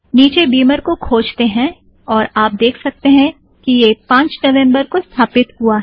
निचे बिमर को खोजतें हैं और आप देख सकतें हैं कि यह पांच नवम्बर को स्थापित हुआ है